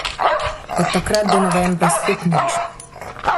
Od takrat do novembra spet nič.